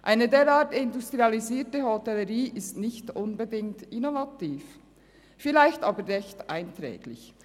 Eine derart industrialisierte Hotellerie ist nicht unbedingt innovativ, vielleicht aber recht einträglich.